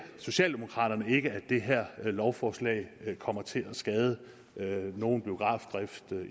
socialdemokraterne ikke at det her lovforslag kommer til at skade nogen biografdrift